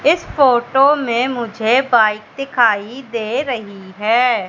इस फोटो में मुझे बाइक दिखाई दे रही है।